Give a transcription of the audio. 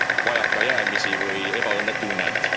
vajakajäämisi või ebaõnnetunnet.